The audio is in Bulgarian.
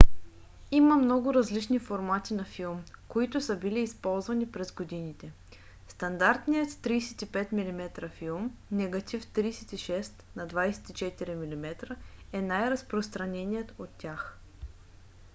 има много различни формати на филм които са били използвани през годините. стандартният 35 mm филм негатив 36 на 24 mm е най-разпространеният от тях